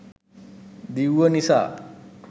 දිව්ව නිසා